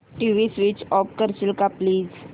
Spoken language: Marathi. टीव्ही स्वीच ऑफ करशील का प्लीज